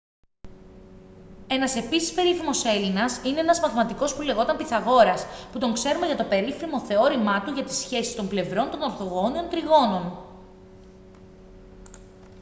ένας επίσης περίφημος έλληνας είναι ένας μαθηματικός που λεγόταν πυθαγόρας που τον ξέρουμε για το περίφημο θεώρημά του για τις σχέσεις των πλευρών των ορθογώνιων τριγώνων